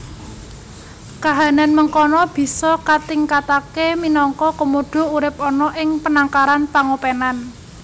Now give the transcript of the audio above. Kahanan mengkana bisa katingkatake minangka komodo urip ana ing penangkaran pangopenan